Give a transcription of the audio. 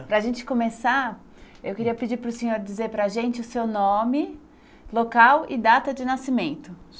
Para a gente começar, eu queria pedir para o senhor dizer para a gente o seu nome, local e data de nascimento.